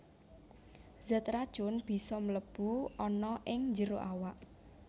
Zat racun bisa mlebu ana ing njero awak